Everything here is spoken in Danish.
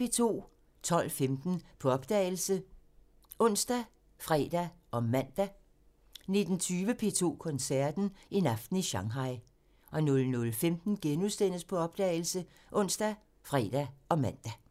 12:15: På opdagelse ( ons, fre, man) 19:20: P2 Koncerten – En aften i Shanghai 00:15: På opdagelse *( ons, fre, man)